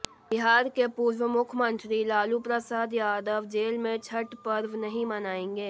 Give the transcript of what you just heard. बिहार के पूर्व मुख्यमंत्री लालू प्रसाद यादव जेल में छठ पर्व नहीं मनाएंगे